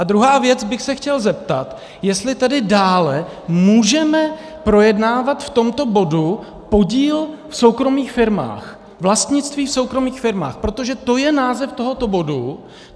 A druhá věc bych se chtěl zeptat, jestli tedy dále můžeme projednávat v tomto bodu podíl v soukromých firmách, vlastnictví v soukromých firmách, protože to je název tohoto bodu.